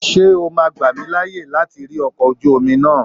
Ṣé o ma gbà mí láyè láti rí ọkọ̀ ojú omi náà?